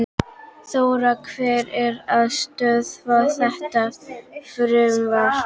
Þóra: Hver er að stöðva þetta frumvarp?